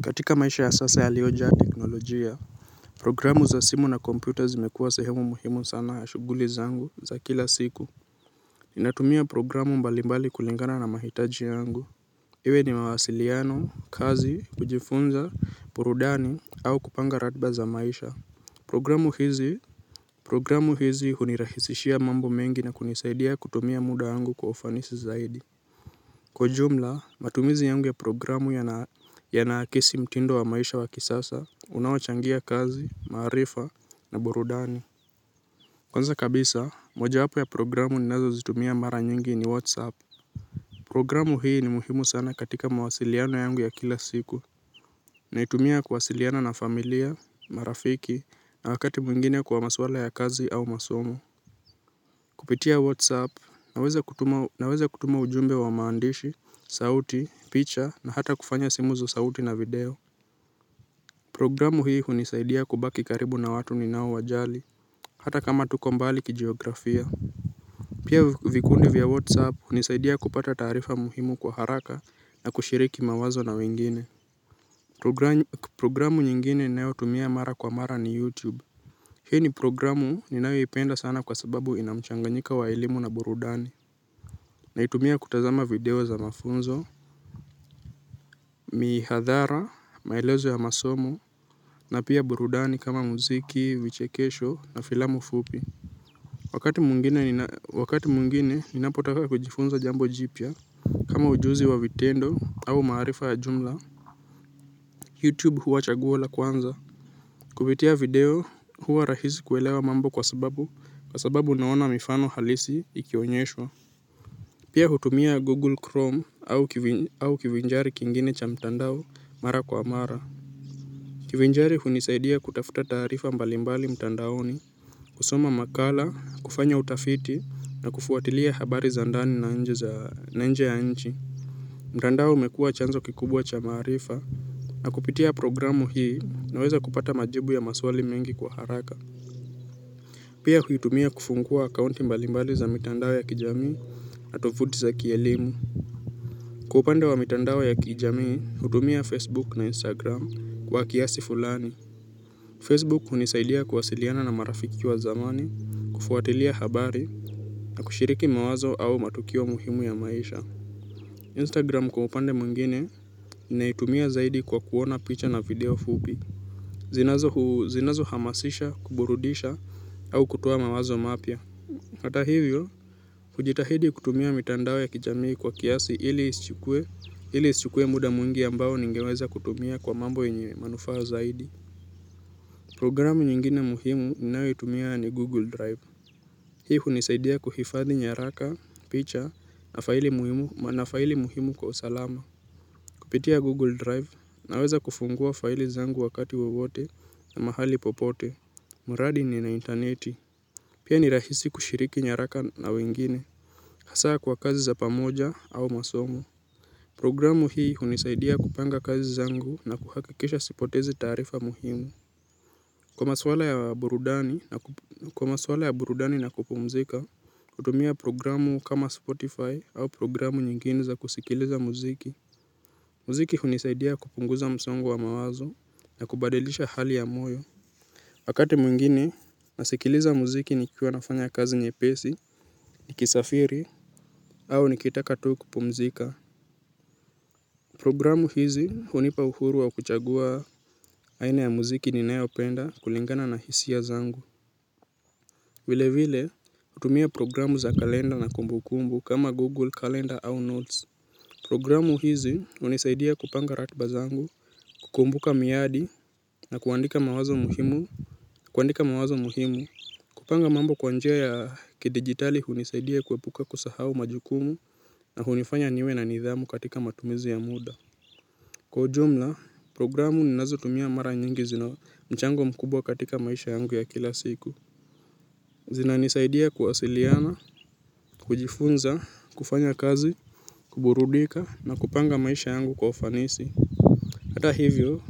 Katika maisha ya sasa yaliyojaa teknolojia programu za simu na computer zimekuwa sehemu muhimu sana ya shughuli zangu za kila siku. Ninatumia programu mbalimbali kulingana na mahitaji yangu iwe ni mawasiliano, kazi, kujifunza, burudani au kupanga ratiba za maisha. Programu hizi programu hizi hunirahisishia mambo mengi na kunisaidia kutumia muda wangu kwa ufanisi zaidi. Kwa jumla, matumizi yangu ya programu yana akisi mtindo wa maisha wa kisasa, unaochangia kazi, maarifa na burudani. Kwanza kabisa, mojawapo ya programu ninazozitumia mara nyingi ni Whatsapp. Programu hii ni muhimu sana katika mawasiliano yangu ya kila siku. Naitumia kuwasiliana na familia, marafiki na wakati mwingine kwa maswala ya kazi au masomo. Kupitia WhatsApp naweza kutuma ujumbe wa maandishi, sauti, picha na hata kufanya simu za sauti na video. Programu hii hunisaidia kubaki karibu na watu ninao wajali. Hata kama tuko mbali kijiografia. Pia vikundi vya WhatsApp hunisaidia kupata taarifa muhimu kwa haraka na kushiriki mawazo na wengine. Programu nyingine ninayotumia mara kwa mara ni YouTube. Hii ni programu ninayoipenda sana kwa sababu ina mchanganyiko wa elimu na burudani. Naitumia kutazama video za mafunzo. Mihadhara, maelezo ya masomo na pia burudani kama mziki, vichekesho na filamu fupi. Wakati mwingine ninapotaka kujifunza jambo jipya kama ujuzi wa vitendo au maarifa ya jumla Youtube huwa chaguo la kwanza. Kupitia video huwa rahisi kuelewa mambo kwa sababu kwa sababu unaona mifano halisi ikionyeshwa. Pia hutumia Google Chrome au kivinjari kingine cha mtandao mara kwa mara. Kivinjari hunisaidia kutafuta taarifa mbalimbali mtandaoni. Kusoma makala, kufanya utafiti na kufuatilia habari za ndani na nje za nje ya nchi. Mtandao umekua chanzo kikubwa cha maarifa na kupitia programu hii naweza kupata majibu ya maswali mengi kwa haraka. Pia huitumia kufungua akaunti mbalimbali za mitandao ya kijami na tovuti za kielimu. Kwa upande wa mitandao ya kijamii hutumia Facebook na Instagram kwa kiasi fulani Facebook hunisaidia kuwasiliana na marafiki wa zamani kufuatilia habari na kushiriki mawazo au matukio muhimu ya maisha. Instagram kwa upande mwingine ninaitumia zaidi kwa kuona picha na video fupi zinazo huu zinazohamasisha kuburudisha au kutoa mawazo mapya, hata hivyo, kujitahidi kutumia mitandao ya kijamii kwa kiasi ili isichukue muda mwingi ambao ningeweza kutumia kwa mambo yenye manufaa zaidi. Programu nyingine muhimu ninayoitumia ni Google Drive. Hii hunisaidia kuhifadhi nyaraka, picha na faili muhimu kwa usalama. Kupitia Google Drive naweza kufungua faili zangu wakati wowote na mahali popote. Mradi nina intaneti. Pia ni rahisi kushiriki nyaraka na wengine. Hasaa kwa kazi za pamoja au masomo. Programu hii hunisaidia kupanga kazi zangu na kuhakikisha sipotezi taarifa muhimu. Kwa maswala ya burudani na kupumzika, kutumia programu kama Spotify au programu nyinginu za kusikiliza muziki. Mziki hunisaidia kupunguza msongo wa mawazo na kubadilisha hali ya moyo. Wakati mwingine, nasikiliza muziki nikiwa nafanya kazi nyepesi, nikisafiri, au nikitaka tu kupumzika. Programu hizi hunipa uhuru wa kuchagua aina ya muziki ninayopenda kulingana na hisia zangu. Vile vile hutumia programu za kalenda na kumbu kumbu kama google kalenda au notes. Programu hizi hunisaidia kupanga ratiba zangu kukumbuka miadi na kuandika mawazo muhimu kuandika mawazo muhimu kupanga mambo kwa njia ya kidigitali hunisaidia kuepuka kusahau majukumu na hunifanya niwe na nidhamu katika matumizi ya muda. Kwa ujumla, programu ninazo mara nyingi zina mchango mkubwa katika maisha yangu ya kila siku. Zinanisaidia kuwasiliana, kujifunza, kufanya kazi, kuburudika na kupanga maisha yangu kwa fanisi. Hata hivyo,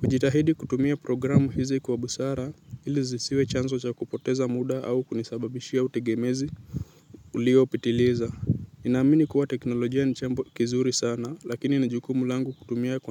kujitahidi kutumia programu hizi kwa busara ili zisiwe chanzo cha kupoteza muda au kunisababishia utegemezi uliopitiliza. Ninaamini kuwa teknolojia jambo kizuri sana lakini ni jukumu langu kutumia kwa.